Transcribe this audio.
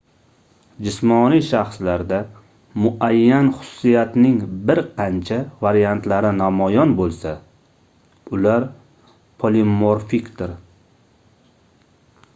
jismoniy shaxslarda muayyan xususiyatning bir qancha variantlari namoyon boʻlsa ular polimorfikdir